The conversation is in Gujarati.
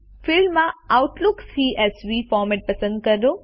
ફિલ્ડમાં આઉટલુક સીએસવી ફોરમેટ પસંદ કરો